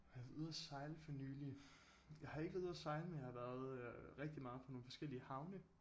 Har jeg været ude og sejle for nylig jeg har ikke været ude og sejle men jeg har været øh rigtig meget på nogle forskellige havne